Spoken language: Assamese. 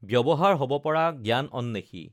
ব্য‌ৱহাৰ হব পৰা জ্ঞান অন্বেষী